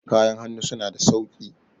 kayan hannu suna da sauki